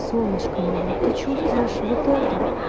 солнышко моё ты чувствуешь вот это